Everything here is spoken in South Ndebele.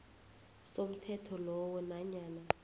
somthetho lowo nanyana